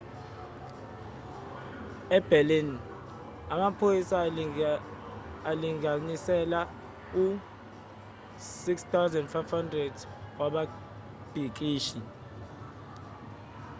eberlin amaphoyisa alinganisela u-6,500 wababhikishi